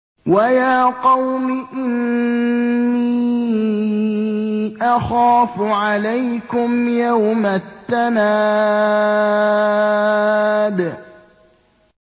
وَيَا قَوْمِ إِنِّي أَخَافُ عَلَيْكُمْ يَوْمَ التَّنَادِ